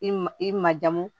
I ma i ma jamu